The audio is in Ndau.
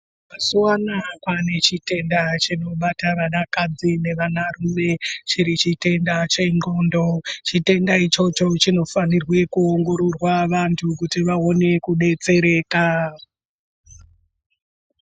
Mazuva anaa kwaanechitenda chinobata vanakadzi nevanarume, chiri chitenda chendxondo. Chitenda ichocho chinofanirwe kuongororwa vantu kuti vaone kudetsereka.